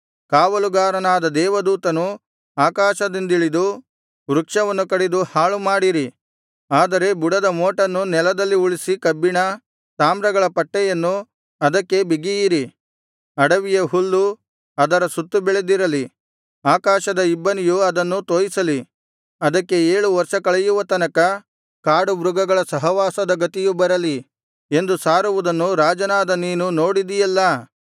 ಕಾವಲುಗಾರನಾದ ದೇವದೂತನು ಆಕಾಶದಿಂದಿಳಿದು ವೃಕ್ಷವನ್ನು ಕಡಿದು ಹಾಳುಮಾಡಿರಿ ಆದರೆ ಬುಡದ ಮೋಟನ್ನು ನೆಲದಲ್ಲಿ ಉಳಿಸಿ ಕಬ್ಬಿಣ ತಾಮ್ರಗಳ ಪಟ್ಟೆಯನ್ನು ಅದಕ್ಕೆ ಬಿಗಿಯಿರಿ ಅಡವಿಯ ಹುಲ್ಲು ಅದರ ಸುತ್ತ ಬೆಳೆದಿರಲಿ ಆಕಾಶದ ಇಬ್ಬನಿಯು ಅದನ್ನು ತೋಯಿಸಲಿ ಅದಕ್ಕೆ ಏಳು ವರ್ಷ ಕಳೆಯುವ ತನಕ ಕಾಡು ಮೃಗಗಳ ಸಹವಾಸದ ಗತಿಯು ಬರಲಿ ಎಂದು ಸಾರುವುದನ್ನು ರಾಜನಾದ ನೀನು ನೋಡಿದಿಯಲ್ಲಾ